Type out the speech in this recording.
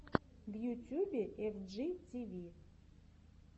в ютюбе эф джи ти ви